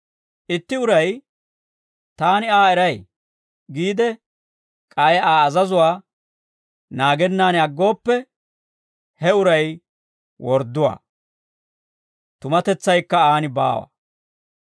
Itti uray, «Taani Aa eray» giide, k'ay Aa azazuwaa naagennan aggooppe, he uray wordduwaa; tumatetsaykka aan baawa.